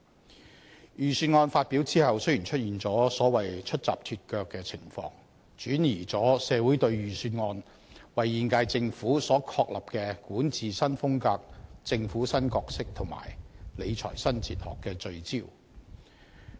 在預算案發表後雖出現"出閘脫腳"的情況，轉移了社會對預算案為現屆政府所確立的管治新風格、政府新角色及理財新哲學的聚焦。